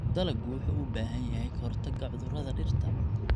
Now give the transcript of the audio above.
Dalaggu wuxuu u baahan yahay ka-hortagga cudurrada dhirta.